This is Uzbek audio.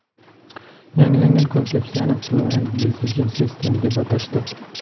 Yangilangan konsepsiyani Fluent Design System deb atashdi.